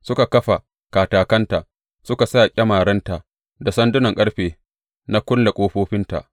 Suka kafa katakanta, suka sa ƙyamarenta, da sandunan ƙarfe na kulle ƙofofinta.